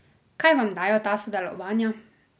Kaj vam dajo ta sodelovanja?